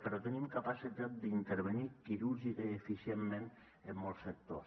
però tenim capacitat d’intervenir quirúrgicament i eficientment en molts sectors